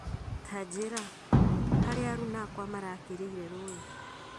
Tanjĩra, harĩa aruna akwa marakĩrĩire rũĩ